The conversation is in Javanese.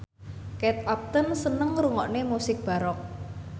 Kate Upton seneng ngrungokne musik baroque